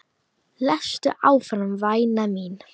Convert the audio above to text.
Lestu áfram væna mín!